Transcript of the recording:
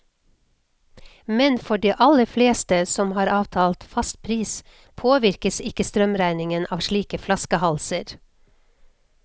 Men for de aller fleste, som har avtalt fast pris, påvirkes ikke strømregningen av slike flaskehalser.